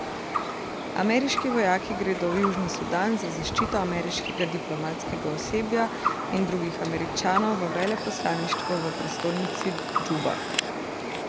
Ameriški vojaki gredo v Južni Sudan za zaščito ameriškega diplomatskega osebja in drugih Američanov v veleposlaništvu v prestolnici Džuba.